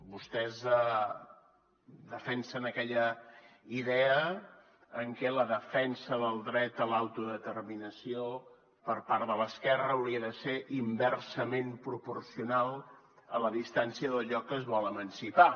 vostès defensen aquella idea en què la defensa del dret a l’autodeterminació per part de l’esquerra hauria de ser inversament proporcional a la distància del lloc que es vol emancipar